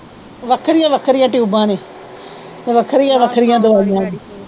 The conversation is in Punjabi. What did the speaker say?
ਵੱਖਰੀਆਂ ਵੱਖਰੀਆਂ ਟਿਊਬਾ ਨੇ ਤੇ ਵੱਖਰੀਆਂ ਵੱਖਰੀਆਂ ਦਵਾਈਆਂ ਨੇ।